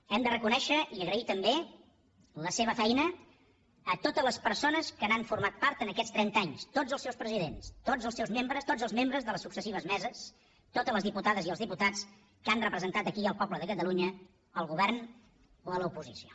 hem de reconèixer i agrair també la seva feina a totes les persones que n’han format part aquests trenta anys tots els seus presidents tots els membres de les successives meses totes les diputades i els diputats que han representat aquí el poble de catalunya al govern o a l’oposició